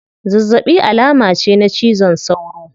Zazzabi alama ce na cizon sauro